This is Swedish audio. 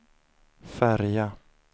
färja